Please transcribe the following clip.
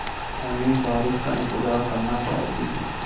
हमें बारिश का इंतज़ार करना चाहिए